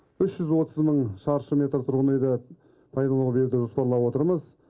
үш жүз отыз мың шаршы метр тұрғын үйді пайдалануға беруді жоспарлап отырмыз